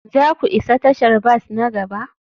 za ku isa tashar bas na gaba?